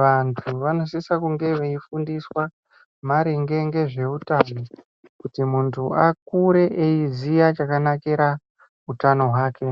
vantu vanosisa kunge veifundiswa maringe ngezveutano. Kuti muntu akure eiziya chakanakira utano hwake.